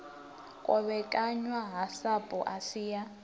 kovhekanywa ha sapu asi ya